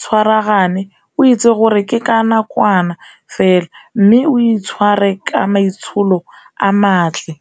tshwaragane, o itse gore ke ka nakwana fela mme o itshware ka maitsholo a matle.